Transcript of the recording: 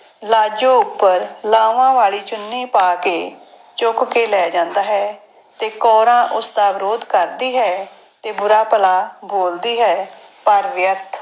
ਲਾਜੋ ਉੱਪਰ ਲਾਵਾਂ ਵਾਲੀ ਚੁੰਨੀ ਪਾ ਕੇ ਚੁੱਕ ਕੇ ਲੈ ਜਾਂਦਾ ਹੈ ਤੇ ਕੌਰਾਂ ਉਸਦਾ ਵਿਰੋਧ ਕਰਦੀ ਹੈ ਤੇ ਬੁਰਾ ਭਲਾ ਬੋਲਦੀ ਹੈ, ਪਰ ਵਿਅਰਥ।